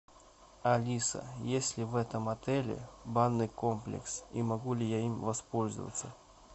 алиса есть ли в этом отеле банный комплекс и могу ли я им воспользоваться